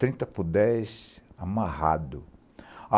Trinta por dez amarrado.